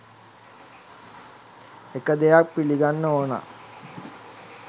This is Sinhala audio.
එක දෙයක් පිළිගන්න ඕන